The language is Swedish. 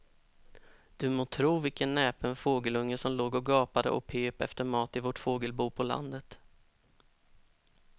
Du må tro vilken näpen fågelunge som låg och gapade och pep efter mat i vårt fågelbo på landet.